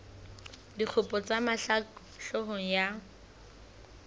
dikgopo tsa mahlaku hloohong ya